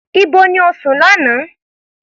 Ibo ni o sùn ní àná?